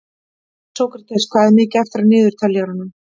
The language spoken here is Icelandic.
Sókrates, hvað er mikið eftir af niðurteljaranum?